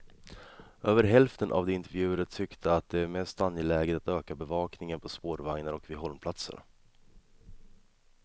Över hälften av de intervjuade tyckte att det är mest angeläget att öka bevakningen på spårvagnar och vid hållplatser.